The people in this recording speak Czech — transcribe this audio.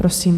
Prosím.